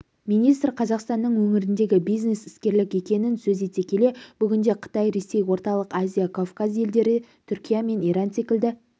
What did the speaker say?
министр қазақстанның өңірдегі бизнес іскерлік екенін сөз ете келе бүгінде қытай ресей орталық азия кавказ елдері түркия мен иран секілді